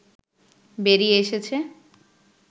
বেরিয়ে এসেছে